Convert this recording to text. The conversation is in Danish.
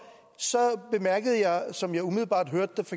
bemærkede jeg som jeg umiddelbart hørte